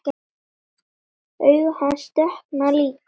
Augu hans dökkna líka.